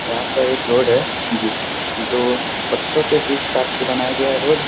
यहाँ पर एक रोड है जो दो पत्थरों के बीच काट के बनाया गया है रोड ।